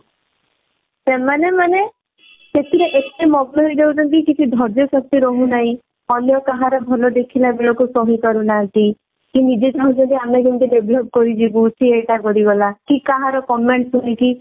ସେମାନେ ମାନେ ସେଥିରେ ଏତେ ମଗ୍ନ ହେଇଯାଉଛନ୍ତି କିଛି ଧର୍ଯ୍ୟ ଶକ୍ତି ରହୁନାହିଁ ଅନ୍ୟ କାହାର ଭଲ ଦେଖିଲା ବେଳକୁ ସହି ପାରୁନାହାନ୍ତି ସେ ନିଜେ ଚାହୁଁଛନ୍ତି ଆମେ କେମିତି develop କରିଯିବୁ ସେ ଏଟା କରିଗଲା କି କାହାର comment ଶୁଣିକି